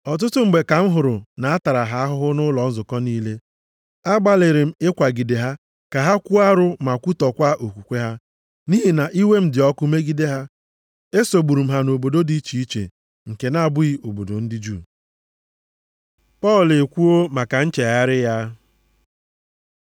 Ọtụtụ mgbe ka m hụrụ na a tara ha ahụhụ nʼụlọ nzukọ niile. Agbalịrị m ịkwagide ha ka ha kwuo arụ ma kwutọkwa okwukwe ha. Nʼihi na iwe m dị ọkụ megide ha, esogburu m ha nʼobodo dị iche iche nke na-abụghị obodo ndị Juu. Pọl ekwuo maka nchegharị ya